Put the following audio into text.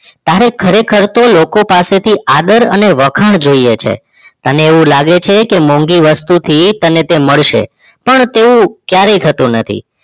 તારે ખરેખાર તો લોકો પાસે થી આદર અને વખાણ જોઈએ છે તને એવું લાગે છે કે મોંઘી વસ્તુ થી તને તે મળશે પણ તેવું ક્યારે થતું નથી